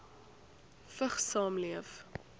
vigs saamleef